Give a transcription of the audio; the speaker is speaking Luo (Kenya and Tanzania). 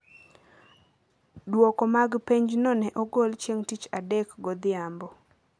Duoko mag penjono ne ogol chieng’ tich adek godhiambo